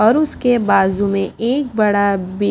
और उसके बाजू में एक बड़ा बी--